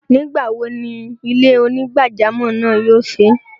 Nígbawo ni ilẹ̀-onígbàjàmọ́ náà yóò ṣí?